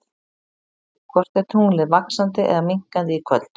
Hvort er tunglið vaxandi eða minnkandi í kvöld?